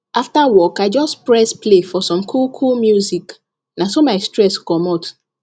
after work i just press play for some coolcool music na so my stress commot